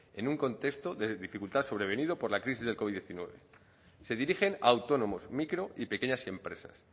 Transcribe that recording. en un contexto de dificultad sobrevenido por la crisis del covid hemeretzi se dirigen a autónomos micro y pequeñas empresas